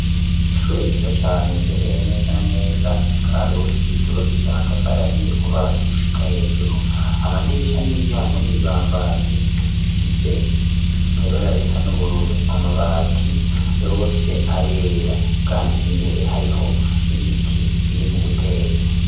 Ishure ryiza cane riherereye neza na neza Ikarusi ryubakishijwe amatafari ahiye kuva hasi gushika hejuru amadirisha n'imiryango n'ibibambazi ifise ibara risa n'ubururu amabati yose arera kandi imbere hariho n'ibiti biri mu guterwa.